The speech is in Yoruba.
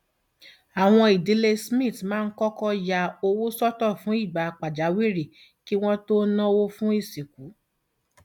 àwọn ìdílé smith máa ń kọkọ ya owó sọtọ fún ìgbà pàjáwìrì kí wọn náwó fún ìsìnkú